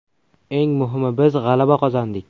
Eng muhimi biz g‘alaba qozondik.